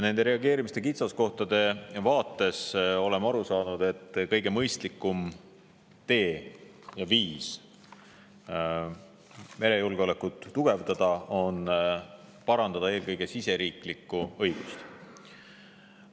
Nende reageerimise kitsaskohtade vaates oleme aru saanud, et kõige mõistlikum tee ja viis merejulgeolekut tugevdada on parandada eelkõige riigisisest õigust.